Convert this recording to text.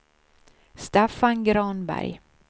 Staffan Granberg